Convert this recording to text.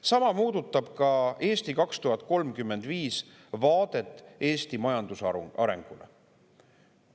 Sama puudutab "Eesti 2035" vaadet Eesti majanduse arengule.